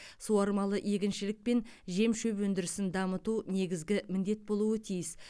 суармалы егіншілік пен жем шөп өндірісін дамыту негізгі міндет болуы тиіс